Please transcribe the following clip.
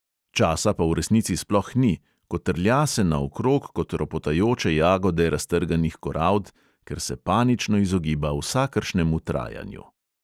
Časa pa v resnici sploh ni, kotrlja se naokrog kot ropotajoče jagode raztrganih korald, ker se panično izogiba vsakršnemu trajanju.